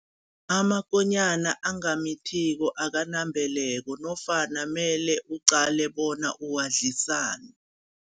Amakonyana angamithiko akanambeleko nofana mele uqale bona uwadlisani.